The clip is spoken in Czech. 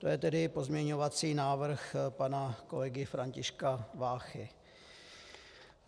To je tedy pozměňovací návrh pana kolegy Františka Váchy.